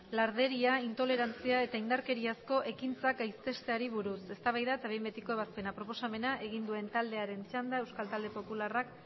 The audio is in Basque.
larderia intolerantzia eta indarkeriazko ekintzak gaitzesteari buruz eztabaida eta behin betiko ebazpena proposamena egin duen taldearen txanda euskal talde popularreko